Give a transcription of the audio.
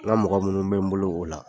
N ka mɔgɔ minnu bɛ n bolo o la.